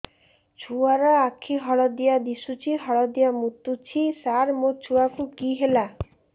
ଛୁଆ ର ଆଖି ହଳଦିଆ ଦିଶୁଛି ହଳଦିଆ ମୁତୁଛି ସାର ମୋ ଛୁଆକୁ କି ହେଲା